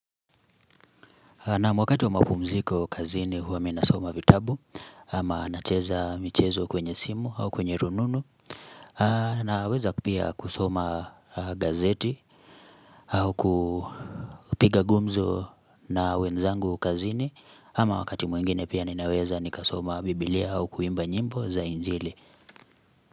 Naam wakati wa mapumziko kazini huwa mi nasoma vitabu ama nacheza michezo kwenye simu au kwenye rununu na weza pia kusoma gazeti au kupiga gumzo na wenzangu kazini ama wakati mwingine pia ninaweza nika soma biblia au kuimba nyimbo za injili.